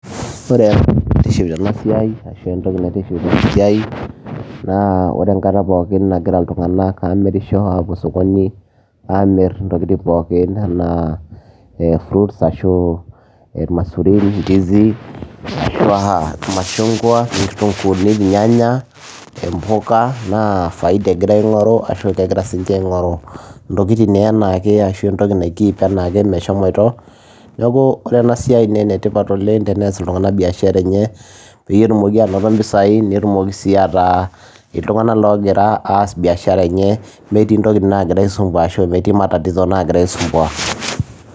Wore entoki naitiship tena siai ashu entoki naitishipisho tena siai naa wore enkata pookin nagira iltunganak amirisho apuo osokoni amir intokitin pookin enaa fruits ashu irmaisurin, ndizi ashua irmashungua, ngitunguuni, irnyanya, impuka naa faida egira aingoru ashu kegira sininje aingoru intokitin naa ashu nai keep meshomoito , niaku wore enasiai naa enetipat oleng teneas iltunganak biashara enye peyie etumoki anoto impisai netumoki sii ataa iltunganak ogira aas biashara enye metii intokitin nagira aisumbua ashu metii matatizo nagira aisumbua.